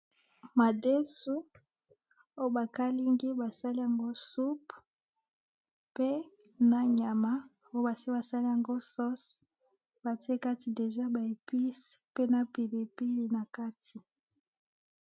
Madesu ayo bakalengi basaliyango supu pe na nyama bosaliyango sosi batiye kati déjà baepusi na pilipili nakati